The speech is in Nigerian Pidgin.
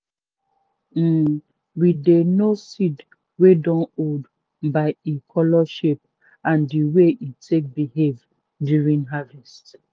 um we dey know seed wey dun old by e color shape and the way e take behave during harvest.